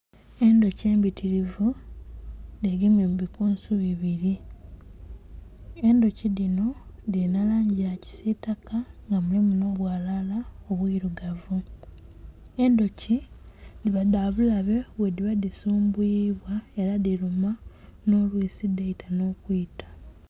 Endhuki embitilivu dhegemye mu bikunsu bibili. Endhuki dhino dhilina langi ya kisiitaka nga mulimu nh'obwalaala obwilugavu. Endhuki dhiba dha bulabe bwe dhiba dhisumbuyibwa ela dhiluma nh'olwisi dhaita nh'okwita.